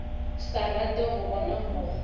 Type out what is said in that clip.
sa rate go bona mokgwa